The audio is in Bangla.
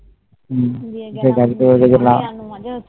হম গাড়ি করে